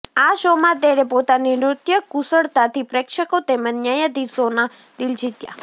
આ શોમાં તેણે પોતાની નૃત્ય કુશળતાથી પ્રેક્ષકો તેમજ ન્યાયાધીશોના દિલ જીત્યા